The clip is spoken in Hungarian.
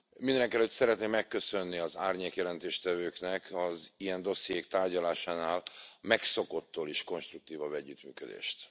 Mindenekelőtt szeretném megköszönni az árnyékjelentéstevőknek az ilyen dossziék tárgyalásánál megszokottól is konstruktívabb együttműködést!